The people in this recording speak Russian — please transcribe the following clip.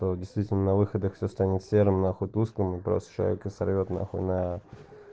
то действительно на выходах все станет серым нахуй тусклым и просто человека сорвёт нахуй на